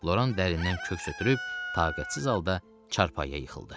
Loran dərindən köks ötürüb, taqətsiz halda çarpayıya yıxıldı.